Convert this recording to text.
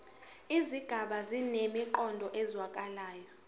izigaba zinemiqondo ezwakalayo